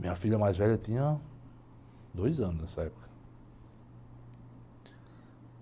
Minha filha mais velha tinha dois anos nessa época.